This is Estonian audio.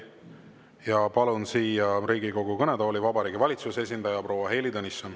Ja palun siia Riigikogu kõnetooli Vabariigi Valitsuse esindaja proua Heili Tõnissoni.